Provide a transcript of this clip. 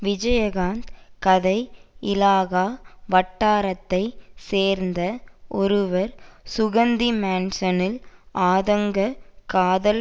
விஜயகாந்த் கதை இலாகா வட்டாரத்தைச் சேர்ந்த ஒருவர் சுகந்தி மேன்சனில் அதாங்க காதல்